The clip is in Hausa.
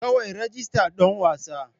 Kawai rajista don wasan.